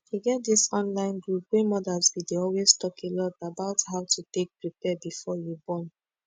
e get dis online group wey modas b dey always talk a lot about how to take prepare before you born